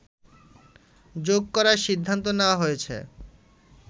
যোগ করার সিদ্ধান্ত নেওয়া হয়েছে